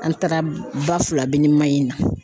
An taara ba Filabe ni Mahina